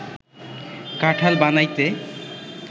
কাঁঠাল বানাইতে